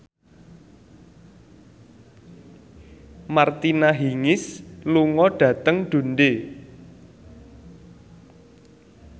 Martina Hingis lunga dhateng Dundee